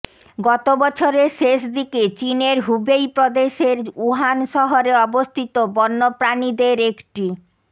গত বছরের শেষ দিকে চীনের হুবেই প্রদেশের উহান শহরে অবস্থিত বন্যপ্রাণীদের একটি